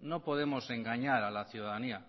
no podemos engañar a la ciudadanía